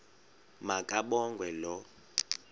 ma kabongwe low